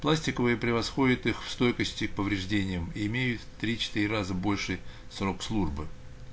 пластиковые превосходят их в стойкости к повреждениям имеют в три-четыре раза больше срок службы